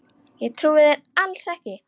Ég trúi þér alls ekki!